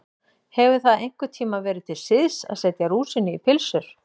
Hefur það einhvern tíma verið til siðs að setja rúsínu í pylsur?